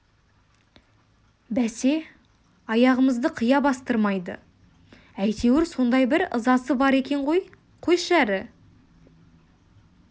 бәсе аяғымызды қия бастырмайды әйтеуір сондай бір ызасы бар екен ғой қойшы әрі